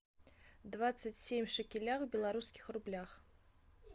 двадцать семь шекелях в белорусских рублях